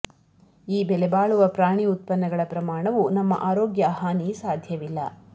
ಈ ಬೆಲೆಬಾಳುವ ಪ್ರಾಣಿ ಉತ್ಪನ್ನಗಳ ಪ್ರಮಾಣವು ನಮ್ಮ ಆರೋಗ್ಯ ಹಾನಿ ಸಾಧ್ಯವಿಲ್ಲ